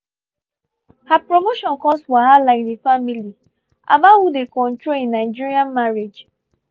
her promotion cause wahala in the family about who dey control in nigerian marriage